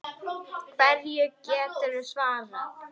Hverju geturðu svarað?